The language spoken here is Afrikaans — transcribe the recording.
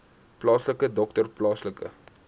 plaaslike dokter plaaslike